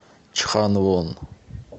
чханвон